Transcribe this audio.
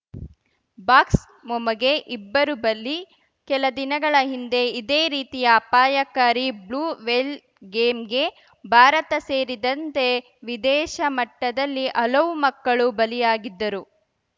ಬಾಕ್ಸ್ಮೊಮೊಗೆ ಇಬ್ಬರು ಬಲಿ ಕೆಲ ದಿನಗಳ ಹಿಂದೆ ಇದೇ ರೀತಿಯ ಅಪಾಯಕಾರಿ ಬ್ಲೂ ವೇಲ್‌ ಗೇಮ್‌ಗೆ ಭಾರತ ಸೇರಿದಂತೆ ವಿದೇಶ ಮಟ್ಟದಲ್ಲಿ ಹಲವು ಮಕ್ಕಳು ಬಲಿಯಾಗಿದ್ದರು